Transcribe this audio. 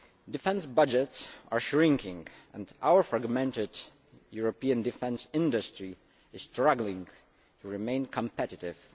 Defence budgets are shrinking and our fragmented European defence industry is struggling to remain competitive.